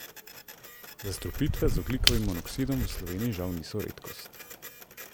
Zastrupitve z ogljikovim monoksidom v Sloveniji žal niso redkost.